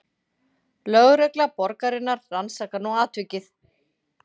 Lögregla borgarinnar rannsakar nú atvikið